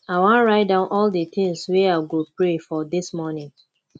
i wan write down all di tins wey i go pray for dis morning